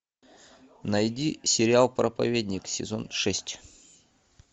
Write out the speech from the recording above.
найди сериал проповедник сезон шесть